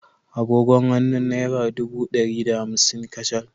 Agogon hannu naira ɗubu ɗari da hamsin kacal